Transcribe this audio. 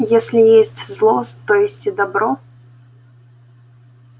если есть зло то есть и добро